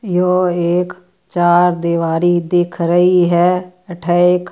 यो एक चार दीवारी दिख रही है अठे एक।